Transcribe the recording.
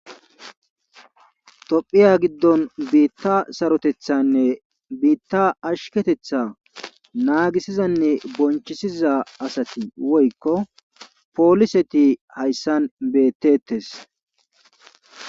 Tophiya gidon tophiya sarotethanne tophiya asheketetha naagisizanne bonchisiza asati woykko poliseti hayssan beetetees.